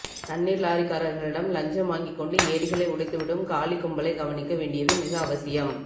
தண்ணீர்லாரிகாரர்களிடம் லஞ்சம் வாங்கிக்கொண்டு ஏரிகளை உடைந்துவிடும் காலி கும்பலை கவனிக்க வேண்டியது மிக அவசியம்